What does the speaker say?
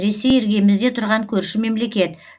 ресей іргемізде тұрған көрші мемлекет